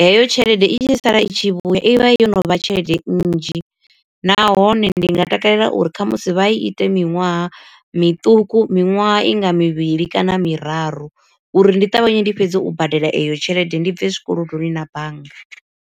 heyo tshelede i tshi sala i tshi vhuya i vha yo no vha tshelede nnzhi. Nahone ndi nga takalela uri khamusi vha ite miṅwaha miṱuku miṅwaha i nga mivhili kana miraru, uri ndi ṱavhanye ndi fhedze u badela eyo tshelede ndi bve zwikolodoni na bannga.